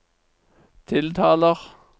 tiltaler